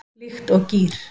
Líkt og gír